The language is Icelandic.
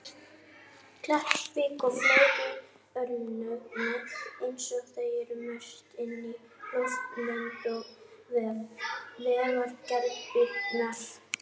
Kleppsvík og fleiri örnefni eins og þau eru merkt inn á loftmynd á vef Vegagerðarinnar.